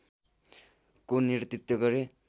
को नेतृत्व गरे